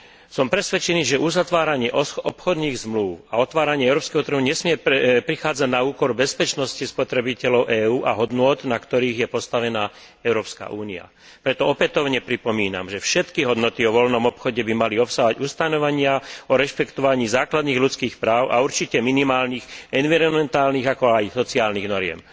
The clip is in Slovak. Som presvedčený, že uzatváranie obchodných zmlúv a otváranie európskeho trhu nesmie prichádzať na úkor bezpečnosti spotrebiteľov EÚ a hodnôt, na ktorých je postavená Európska únia. Preto opätovne pripomínam, že všetky dohody o voľnom obchode by mali obsahovať ustanovenia o rešpektovaní základných ľudských práv a určite minimálnych environmentálnych, ako aj sociálnych noriem.